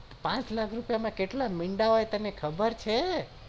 પાંચ લાખ રૂપિયા માં કેટલા મીંડા આવે તને ખબર છે